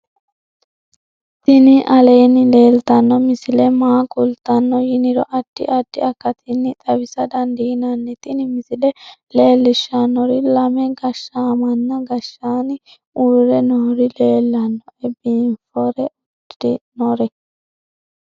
tini aleenni leeltanno misile maa kultanno yiniro addi addi akatinni xawisa dandiinnanni tin misile leellishshannori lame gashshaamanna gshshaanni uurre nori leellannoe biinfore uddi'nori